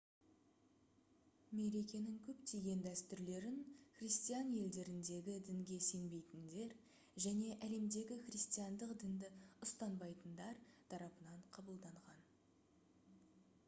мерекенің көптеген дәстүрлерін христиан елдеріндегі дінге сенбейтіндер және әлемдегі христиандық дінді ұстанбайтындар тарапынан қабылданған